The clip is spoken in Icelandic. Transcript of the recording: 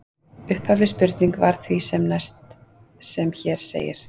Upphafleg spurning var því sem næst sem hér segir: